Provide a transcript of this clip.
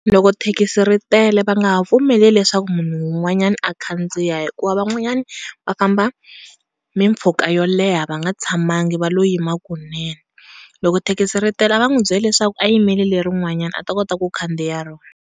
Loko thekisi ri tele va nga ha pfumeleli leswaku munhu wu n'wanyani a khandziya hikuva van'wani va famba mimpfhuka va nga tshamangi va lo yima kunene loko thekisi ritela a va n'wi byeli leswaku a yimeli le ri nwanyani a ta kota ku khandziya rona.